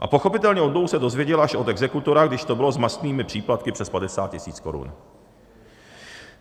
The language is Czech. A pochopitelně o dluhu se dozvěděl až od exekutora, když to bylo s mastnými příplatky přes 50 tisíc korun.